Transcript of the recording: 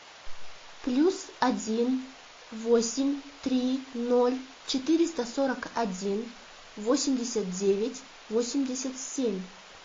плюс один восемь три ноль четыреста сорок один восемьдесят девять восемьдесят семь